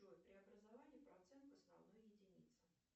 джой преобразование процент основной единицы